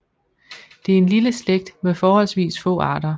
Det er en lille slægt med forholdsvis få arter